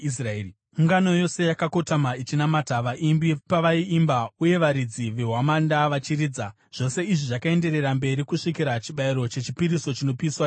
Ungano yose yakakotama ichinamata, vaimbi pavaiimba uye varidzi vehwamanda vachiridza. Zvose izvi zvakaenderera mberi kusvikira chibayiro chechipiriso chinopiswa chapera.